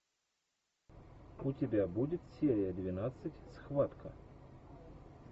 у тебя будет серия двенадцать схватка